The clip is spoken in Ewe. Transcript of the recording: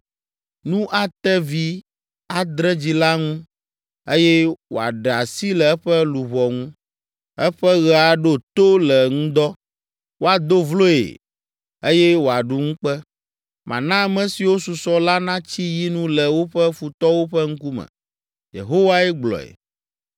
Nu ate vi adre dzila ŋu, eye wòaɖe asi le eƒe luʋɔ ŋu. Eƒe ɣe aɖo to le ŋdɔ. Woado vloe eye wòaɖu ŋukpe. Mana ame siwo susɔ la natsi yi nu le woƒe futɔwo ƒe ŋkume,” Yehowae gblɔe.